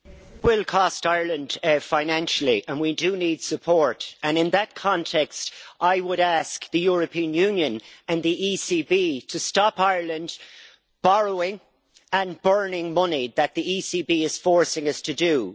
Madam President, it will cost Ireland financially and we do need support. In that context, I would ask the European Union and the ECB to stop Ireland borrowing and burning money that the ECB is forcing us to do.